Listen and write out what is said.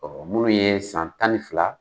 munnu ye san tan ni fila